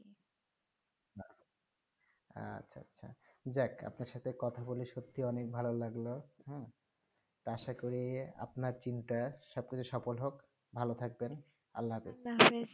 হেঁ আচ্ছা আচ্ছা যাক আপনার সাথে কথা বলে অনেক ভালো হেঁ তা আসা করি আপনা চিন্তা সব কিছু সফল হোক ভালো থাকবেন